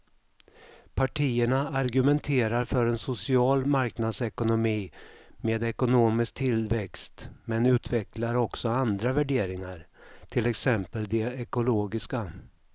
Partierna argumenterar för en social marknadsekonomi med ekonomisk tillväxt men utvecklar också andra värderingar, till exempel de ekologiska.